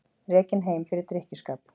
Rekinn heim fyrir drykkjuskap